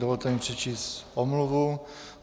Dovolte mi přečíst omluvu.